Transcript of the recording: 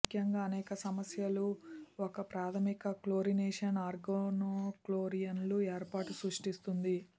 ముఖ్యంగా అనేక సమస్యలు ఒక ప్రాధమిక క్లోరినేషన్ ఆర్గానోక్లోరిన్లు ఏర్పాటు సృష్టిస్తుంది